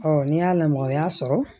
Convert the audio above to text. ni y'a lamaga sɔrɔ